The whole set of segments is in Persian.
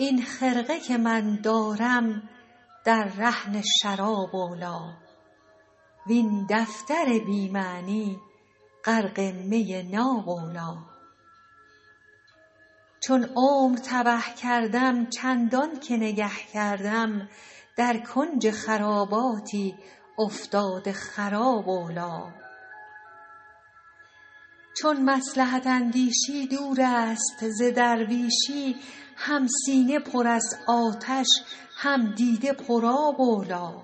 این خرقه که من دارم در رهن شراب اولی وین دفتر بی معنی غرق می ناب اولی چون عمر تبه کردم چندان که نگه کردم در کنج خراباتی افتاده خراب اولی چون مصلحت اندیشی دور است ز درویشی هم سینه پر از آتش هم دیده پرآب اولی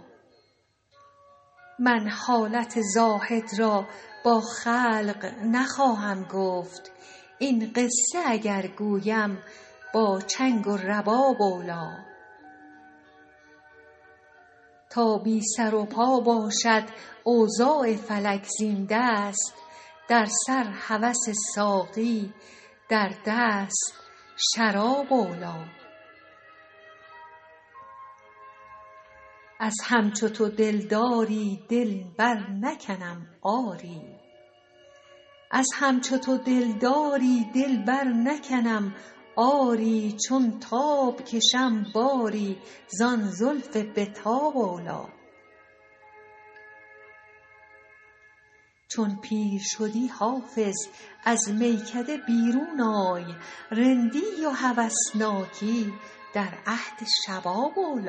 من حالت زاهد را با خلق نخواهم گفت این قصه اگر گویم با چنگ و رباب اولی تا بی سر و پا باشد اوضاع فلک زین دست در سر هوس ساقی در دست شراب اولی از همچو تو دلداری دل برنکنم آری چون تاب کشم باری زان زلف به تاب اولی چون پیر شدی حافظ از میکده بیرون آی رندی و هوسناکی در عهد شباب اولی